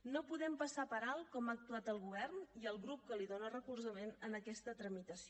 no podem passar per alt com ha actuat el govern i el grup que li dóna recolzament en aquesta tramitació